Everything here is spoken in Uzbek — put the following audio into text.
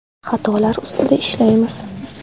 Xatolar ustida ishlaymiz.